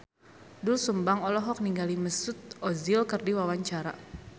Doel Sumbang olohok ningali Mesut Ozil keur diwawancara